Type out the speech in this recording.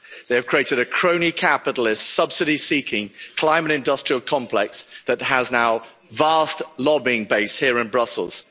They have created a crony capitalist subsidy seeking climate industrial complex that has now a vast lobbying base here in Brussels.